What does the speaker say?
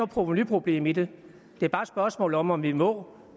provenuproblem i det det er bare et spørgsmål om om vi må